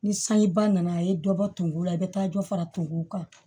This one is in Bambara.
Ni sanji ba nana a ye dɔ bɔ tumu la i bɛ taa dɔ fara tumuw kan